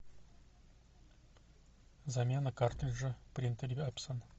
замена картриджа в принтере эпсон